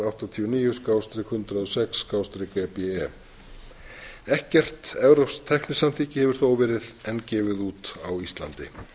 áttatíu og níu hundrað og sex e b e ekkert evrópskt tæknisamþykki hefur þó verið enn gefið út á íslandi